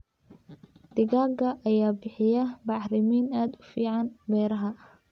Digaagga ayaa bixiya bacrimin aad u fiican beeraha.